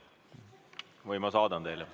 Või ma saadan teile.